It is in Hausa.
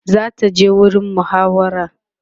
zata je gurin muhawara